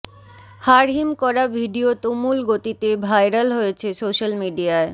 হাড়হিম করা ভিডিও তুমুল গতিতে ভাইরাল হয়েছে সোশ্যাল মিডিয়ায়